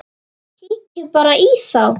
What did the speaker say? Kíkið bara í þá!